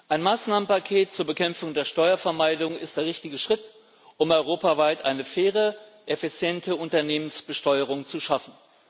Ein Maßnahmenpaket zur Bekämpfung der Steuervermeidung ist der richtige Schritt, um europaweit eine faire, effiziente Unternehmensbesteuerung zu schaffen.